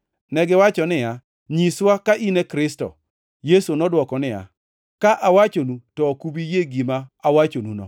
Negiwacho niya, “Nyiswa ka in e Kristo.” Yesu nodwoko niya, “Ka awachonu, to ok ubi yie gima awachonuno,